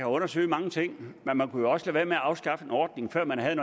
undersøge mange ting men man kunne jo også lade være med at afskaffe en ordning før man havde